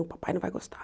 O papai não vai gostar.